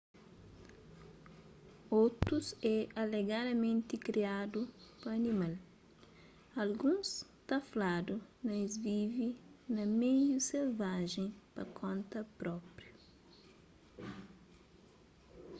otus é alegadamenti kriadu pa animal alguns ta fladu na es vive na meiu selvajen pa konta própriu